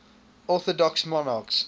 orthodox monarchs